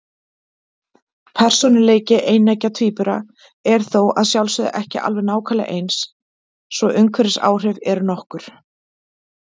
Persónuleiki eineggja tvíbura er þó að sjálfsögðu ekki alveg nákvæmlega eins, svo umhverfisáhrif eru nokkur.